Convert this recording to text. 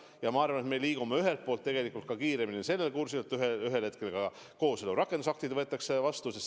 Ja ma arvan, et me liigume ühelt poolt tegelikult kiiremini ka sellel kursil, et ühel hetkel kooseluseaduse rakendusaktid võetakse vastu.